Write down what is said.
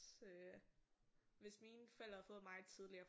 Øh hvis mine forældre havde fået mig tidligere